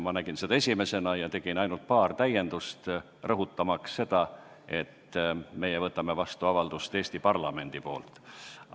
Ma nägin seda esimesena ja tegin ainult paar täiendust, rõhutamaks seda, et me võtame vastu avalduse Eesti parlamendi poolt.